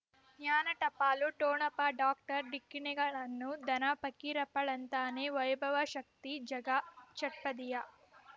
ಜ್ಞಾನ ಟಪಾಲು ಠೊಣಪ ಡಾಕ್ಟರ್ ಢಿಕ್ಕಿ ಣಗಳನು ಧನ ಪಕೀರಪ್ಪ ಳಂತಾನೆ ವೈಭವ್ ಶಕ್ತಿ ಝಗಾ ಷಟ್ಪದಿಯ